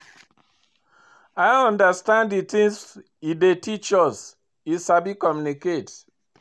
I dey understand the things he dey teach us, he sabi communicate.